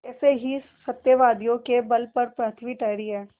ऐसे ही सत्यवादियों के बल पर पृथ्वी ठहरी है